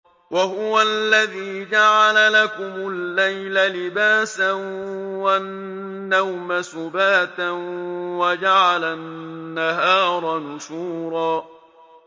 وَهُوَ الَّذِي جَعَلَ لَكُمُ اللَّيْلَ لِبَاسًا وَالنَّوْمَ سُبَاتًا وَجَعَلَ النَّهَارَ نُشُورًا